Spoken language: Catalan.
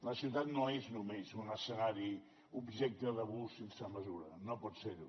una ciutat no és només un escenari objecte d’abús sense mesura no pot ser ho